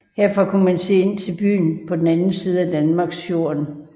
Herfra kunne man se ind til byen på den anden side af Danmarksfjärden